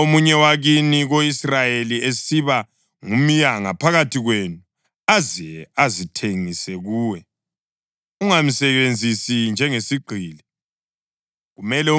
Nxa omunye wakini ko-Israyeli esiba ngumyanga phakathi kwenu aze azithengise kuwe, ungamsebenzisi njengesigqili.